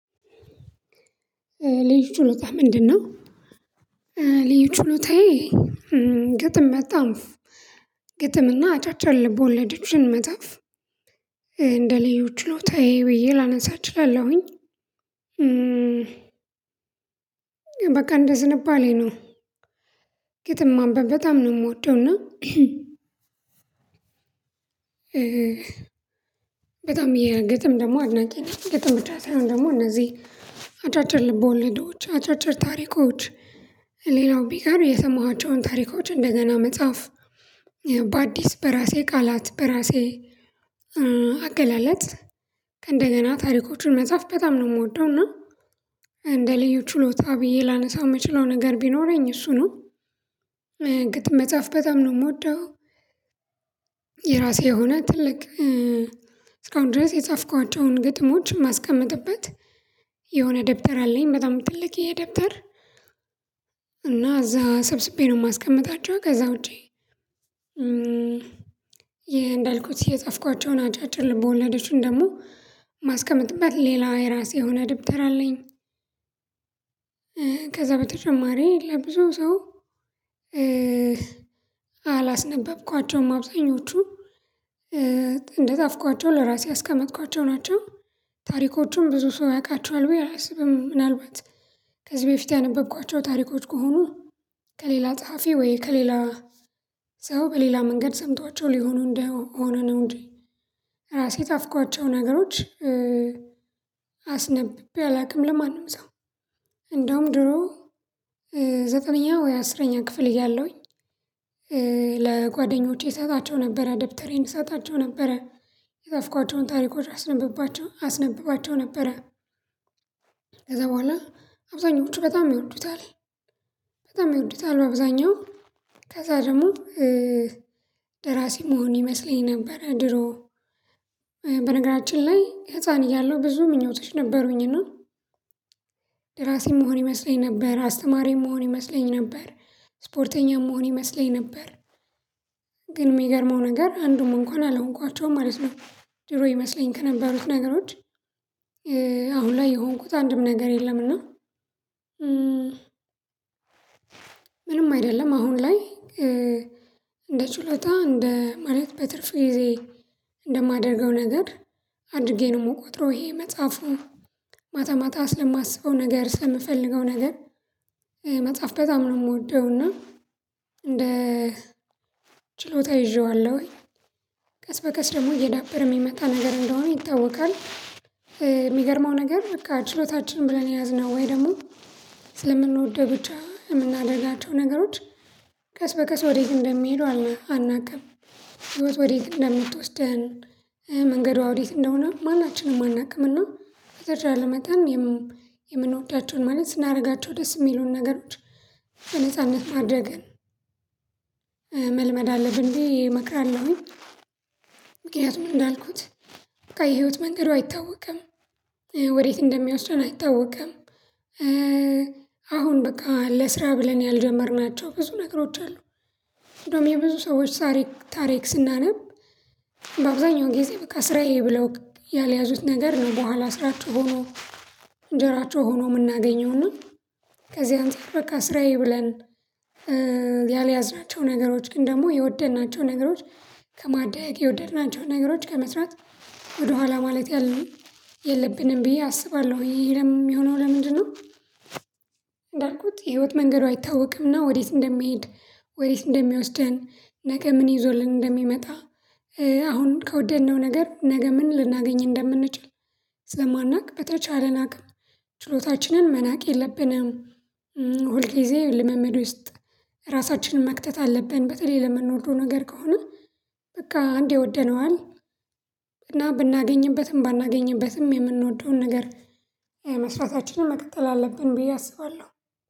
ልዩ ችሎታህ ምንድን ነው? ልዩ ችሎታየ ግጥም በጣም ግጥምና አጫጭር ልብ ወለዶችን መጻፍ እንደ ልዩ ችሎታዩ ብዬ ላነሳ እችላለሁኝ። በቃ እንደ ዝንባሌ ነው። ግጥም ማንበብ በጣም ነው ምወደው እና በጣም የግጥም ደግሞ አድናቂ ነኝ ግጥም ብቻ ሳይሆን ደግሞ እነዚህ ልቦ ወለዶች አጫጭር ታሪኮች ሌላው ቢቀር የሰማኋቸውን ታሪኮች እንደገና መጻፍ በአዲስ በራሴ ቃላት በራሴ አገላለጽ ከእንደገና ታሪኮችን መጻፍ በጣም ነው ምወደው። እና እንደ ልዩ ችሎታ ብዬ ላነሳው ምችለው ነገር ቢኖረኝ እሱ ነው። ግጥም መጻፍ በጣም ነው ምወደው። የራሴ የሆነ ትልቅ እስካሁን ድረስ የጻፍኳቸውን ግጥሞች የማስቀምጥበት የሆነ ደብተር አለኝ። በጣም ትልቅ ደብተር። እና እዛ ሰብስቤ ነው ማስቀምጣቸው ከዛ ውጪ። ይሄ እንዳልኩት የጸፍኳቸውን አጫጭር ልቦወለዶችን ደግሞ ማስቀመጥበት ሌላው የራሴ የሆነ ደብተር አለኝ። ከዛ በተጨማሪ ለብዙ ሰው አላስነበብኳቸውም አብዛኞቹ እንደጻፍኳቸው ለራሴ ያስቀመጥኳቸው ናቸው። ታሪኮቹም ብዙ ሰው ያውቃቸዋል ብየ አላስብም። ምናልባት ከዚህ በፊት ያነበብኳቸው ታሪኮች ከሆኑ ከሌላ ጸሐፊ ወይ ከሌላ ሰው በሌላ መንገድ ሰምተዋቸው ሊሆኑ እንደሆነ ነው እንጂ። ራሴ የጻፍኳቸው ነገሮች አስነብቤ አላውቅም ለማንም ሰው። እንደውም ድሮ ዘጠነኛ ወይ አስረኛ ክፍል እያለሁኝ ለጓደኞቼ እሰጣቸው ነበረ ደብተሬን እሰጣቸው ነበረ የጻፍኳቸውን ታሪኮች አስነብባቸው አስነብባቸው ነበረ። ከዛ በኋላ አብዛኛው ውጪ በጣም ይወዱታል። በጣም ይወዱታል አብዛኛው ከዛ ደግሞ ደራሲ መሆን ይመስለኝ ነበር ድሮ። በነገራችን ላይ ህፃን እያለሁ ብዙ ምኞቶች ነበሩኝ እና ደራሲም መሆን ይመስለኝ ነበር አስተማሪም መሆን ይመስለኝ ነበር ስፖርተኛ መሆን ይመስለኝ ነበር። ግን ሚገርመው ነገር አንዱም እንኳን አልሆንኳቸውም ማለት ነው። ድሮ ይመስለኝ ከነበሩት ነገሮች አሁን ላይ የሆንኩት አንድም ነገር የለምና። ምንም አይደለም አሁን ላይ ችሎታ እንደ ማለት በትርፍ ጊዜ እንደማደርገው ነገር አድርጌ ነው ምቆጥረው ይሄ መፃፉ። ማታ ማታ ስለማስበው ነገር ስለምፈልገው ነገር መጻፍ በጣም ነው ምወደው። እና እንደ ችሎታ ይዤዋለሁኝ ቀስ በቀስ ደግሞ እየዳበረ ሚመጣ ነገር እንደሆነ ይታወቃል። ሚገርመው ነገር በቃ ችሎታችን ብለን የያዝነው ወይ ደግሞ ስለምንወደው ብቻ የምናደርጋቸው ነገሮች ቀስ በቀስ ወዴት እንደሚሄዱ አናቅም። ህይወት ወዴት እንደምትወስደን መንገዷ ወዴት እንደሆነ ማናችንም አናቅም። እና በተቻለ መተን የምንወዳቸውን ማለት ስናረጋቸው ደስ የሚሉን ነገሮች በነጻነት ማድረግን መልመድ አለብን ብዩ እመክራለሁኝ። እንዳልኩት በቃ የህይወት መንገዱ አይታወቅም። ወዴት እንደሚወስደን አይታወቅም። አሁን በቃ ለስራ ብለን ያልጀመርናቸው ብዙ ነገሮች አሉ። እንደውም የብዙ ሰዎች ታሪክ ስናነብ በአብዛኛው ጊዜ በቃ ስራዬ ብለው ያልያዙት ነገር ነው በኋላ ስራቸው ሆኖ እንጀራቸው ሆኖ ምናገኘው ነው። ከዚህ አንፃር በቃ ስራዬ ብለን ያልያዝናቸው ነገሮች ግን ደግሞ የወደድናቸው ነገሮች ከማደግ የወደድናቸው ነገሮች ከመስራት ወደኋላ ማለት የለብንም ብዬ አስባለሁ ይሄ ሚሆነው ለምንድን ነው? እንዳልኩት የህይወት መንገድ አይታወቅምና ወዴት እንደሚሄድ ወዴት እንደሚወስደን ነገ ምን ይዞልን እንደሚመጣ አሁን ከወደድነው ነገር ነገ ምን ልናገኝ እንደምንችል። ስለማናቅ በተቻለ አቅም ችሎታችንን መናቅ የለብንም። ሁልጊዜ ልምምድ ውስጥ ራሳችንን መክተት አለብን። በተለይ ለምንወደው ነገር ከሆነ በቃ አንዴ ወደነዋል እና ብናገኝበትም ባናገኝበትም የምንወደውን ነገር መስራታችንን መቀጠል አለብን። ብዬ አስባለሁ።